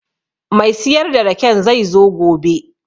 Mai siyar da raken zai zo gobe